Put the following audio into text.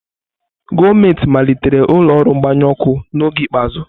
Gọọmentị malitere ụlọ ọrụ mgbanyụ ọkụ n'oge ikpeazụ.